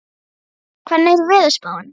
Dagbjörg, hvernig er veðurspáin?